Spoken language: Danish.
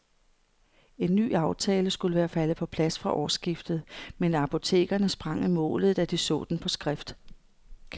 En ny aftale skulle være faldet på plads fra årsskiftet, men apotekerne sprang i målet, da de så den på skrift.